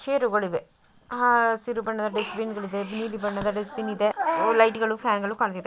ಚೇರುಗಳಿವೆ ಹಸಿರು ಬಣ್ಣದ ದುಶ್ಟಬಿನ್ ಗಲಿದೆ ನೆಲಿ ಬಣ್ಣದ ದುಶ್ಟಬಿನಿದೆ ಲೈಟ್ಗಳು ಫ್ಯಾನ್ಗಳು ಕಾಣ್ತಿದೆ.